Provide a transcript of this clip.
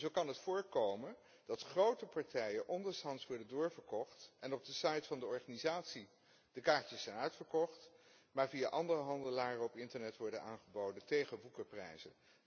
Zo kan het voorkomen dat grote partijen ondershands worden doorverkocht en de kaartjes op de site van de organisatie zijn uitverkocht, maar via andere handelaren op internet worden aangeboden tegen woekerprijzen.